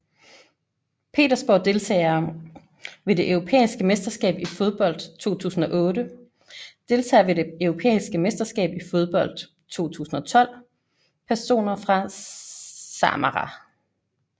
Petersborg Deltagere ved det europæiske mesterskab i fodbold 2008 Deltagere ved det europæiske mesterskab i fodbold 2012 Personer fra Samara